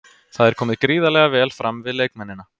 Það er komið gríðarlega vel fram við leikmennina.